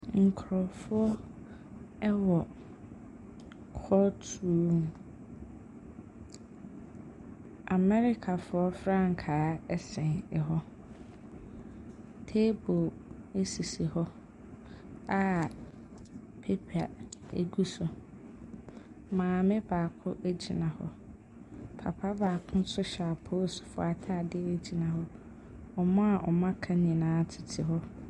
Nkurɔfoɔ wɔ court room. Amɛrikafoɔ frankaa sɛn hɔ. Table nso si hɔ a paper gu so. Maame baako gyina hɔ. Papa baakonso hyɛ apolisifoɔ atadeɛ gyina hɔ. Wɔn a wɔaka no nyinaa tete hɔ.